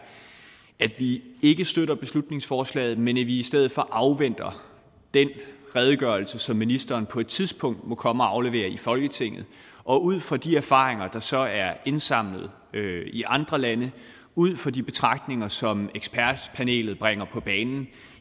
at vi ikke støtter beslutningsforslaget men at vi i stedet for afventer den redegørelse som ministeren på et tidspunkt må komme og aflevere i folketinget og ud fra de erfaringer der så er indsamlet i andre lande ud fra de betragtninger som ekspertpanelet bringer på banen